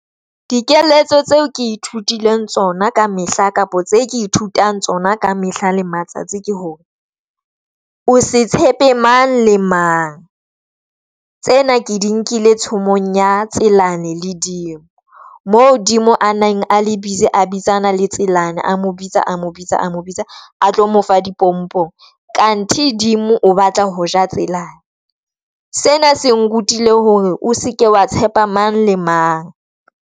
Dikeletso tseo ke ithutileng tsona ka mehla kapo tse ke ithutang tsona ka mehla le matsatsi ke hore o se tshepe mang le mang. Tsena ke di nkile tshomong ya Tselane le Dimo, moo Dimo a nang a le busy a bitsana le Tselane, a mo bitsa, a mo bitsa, a mo bitsa, a tlo mo fa dipompong, kanthe Dimo o batla ho ja Tselane. Sena se nkutlile hore o seke wa tshepa mang le mang.